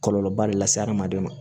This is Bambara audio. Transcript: Kɔlɔlɔba le lase adamaden ma